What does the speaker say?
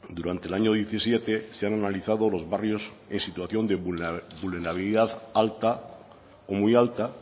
durante el año diecisiete se han analizado los barrios de situación de vulnerabilidad alta o muy alta